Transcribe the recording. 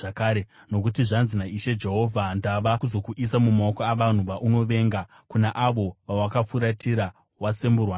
“Nokuti zvanzi naIshe Jehovha: Ndava kuzokuisa mumaoko avanhu vaunovenga, kuna avo vawakafuratira wasemburwa navo.